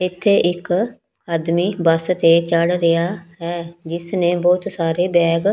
ਇੱਥੇ ਇੱਕ ਆਦਮੀ ਬੱਸ ਤੇ ਚੜ੍ਹ ਰਿਹਾ ਹੈ ਜਿਸ ਨੇ ਬਹੁਤ ਸਾਰੇ ਬੈਗ --